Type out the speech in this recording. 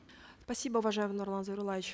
спасибо уважаемый нурлан зайроллаевич